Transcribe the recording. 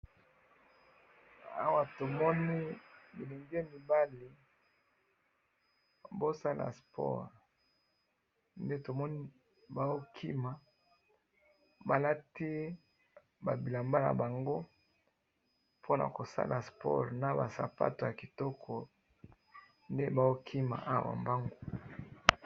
Awa na moni batu bazo sala sport balati ba bilamba na bango na ba sapato po na kosala sport. Bazali ko kima.